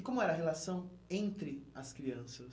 E como era a relação entre as crianças?